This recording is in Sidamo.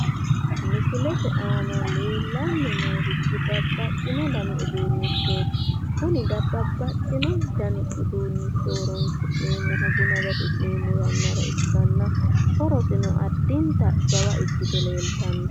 Misilete aana leellanni noorichi babbaxxino dani uduunnichooti. kuni babbaxxino dani udunnicho horonsi'neemmihu buna gafi'neemmo yannara ikkanna, horosino addinta jawa ikkite leeltanno.